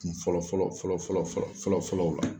Kun Fɔlɔ fɔlɔ fɔlɔ fɔlɔ fɔlɔ fɔlɔw la.